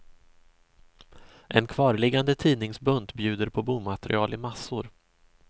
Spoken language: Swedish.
En kvarliggande tidningsbunt bjuder på bomaterial i massor.